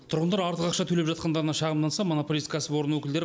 тұрғындар артық ақша төлеп жатқандарына шағымданса монополист кәсіпорын өкілдері